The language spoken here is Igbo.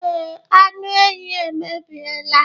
Ee, anụ ehi emebiela.